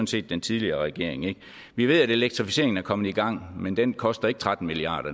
set den tidligere regering vi ved at elektrificeringen er kommet i gang men det koster ikke tretten milliard